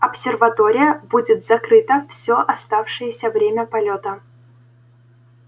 обсерватория будет закрыта всё оставшееся время полёта